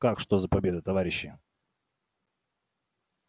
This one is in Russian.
как что за победа товарищи